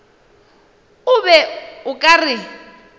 o be o ka re